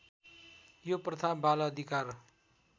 यो प्रथा बालअधिकार